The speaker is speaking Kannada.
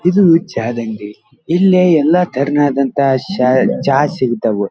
ಇದು ಚಾ ಅಂಗಡಿ ಇಲ್ಲಿ ಎಲ್ಲ ತರನಾದಂತಹದ ಶಾ ಚಾ ಸಿಗತಾವ.